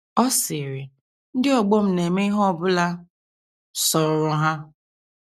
Ọ sịrị: Ndị ọgbọ m na - eme ihe ọ bụla sọrọ ha.